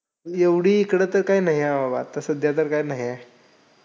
एवढी इकडं तर काय नाहीये बाबा. आता सध्या तर काही नाहीये.